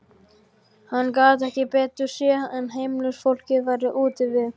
Hann gat ekki betur séð en heimilisfólkið væri úti við.